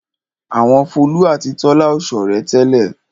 Àwọn Folú àti Tọ́lá ò ṣọ̀rẹ́ tẹ́lẹ̀.